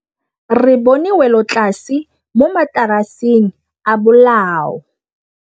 Re bone wêlôtlasê mo mataraseng a bolaô.